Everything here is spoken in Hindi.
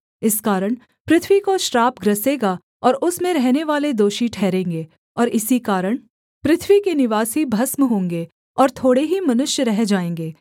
इस कारण पृथ्वी को श्राप ग्रसेगा और उसमें रहनेवाले दोषी ठहरेंगे और इसी कारण पृथ्वी के निवासी भस्म होंगे और थोड़े ही मनुष्य रह जाएँगे